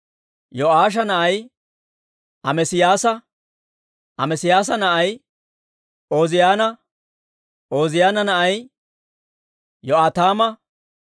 Yo'aasha na'ay Amesiyaasa; Amesiyaasa na'ay Ooziyaana; Ooziyaana na'ay Yo'aataama;